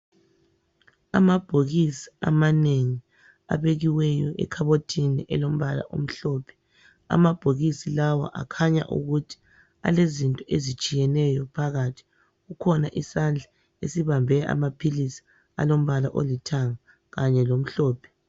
Amabhokisi amanengi abekiweyo ekhabothini elombala omhlophe. Amabhokisi lawa akhanya ukuthi alezinto ezitshiyeneyo phakathi. Kukhona isandla esibambe amaphilisi alombala olithanga kanye lomhlophe.